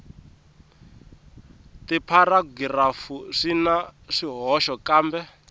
tipharagirafu swi na swihoxo kambe